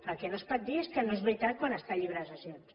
el que no es pot dir és que no és veritat quan està al llibre de sessions